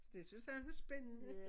Det synes han var spændende